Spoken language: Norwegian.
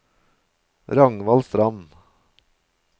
Ragnvald Strand